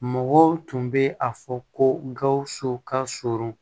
Mɔgɔw tun bɛ a fɔ ko gawusu ka surun